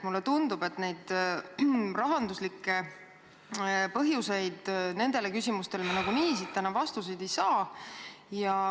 Mulle tundub, et rahanduslikke põhjendusi me oma küsimustele vastuseks nagunii siin täna ei saa.